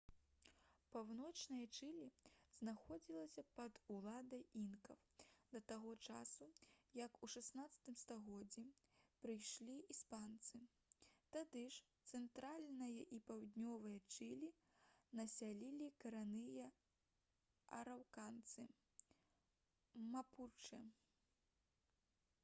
паўночнае чылі знаходзілася пад уладай інкаў да таго часу як у 16 стагоддзі прыйшлі іспанцы. тады ж цэнтральнае і паўднёвае чылі насялялі карэнныя араўканцы мапучэ